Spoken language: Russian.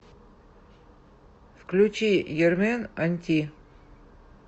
включи ермен анти